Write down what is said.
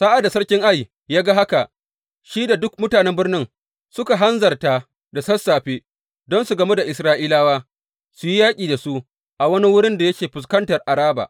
Sa’ad da sarkin Ai ya ga haka, shi da duk mutanen birnin suka hanzarta da sassafe don su gamu da Isra’ilawa, su yi yaƙi da su a wani wurin da yake fuskantar Araba.